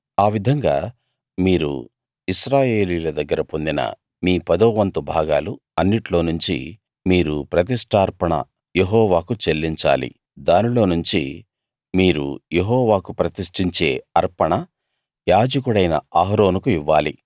ఆ విధంగా మీరు ఇశ్రాయేలీయుల దగ్గర పొందిన మీ పదోవంతు భాగాలు అన్నిట్లోనుంచి మీరు ప్రతిష్ఠార్పణ యెహోవాకు చెల్లించాలి దానిలోనుంచి మీరు యెహోవాకు ప్రతిష్ఠించే అర్పణ యాజకుడైన అహరోనుకు ఇవ్వాలి